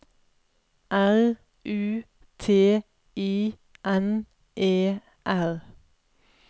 R U T I N E R